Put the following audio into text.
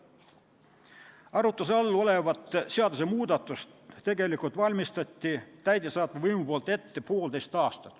Arutluse all olevat seadusmuudatust valmistas täidesaatev võim ette poolteist aastat.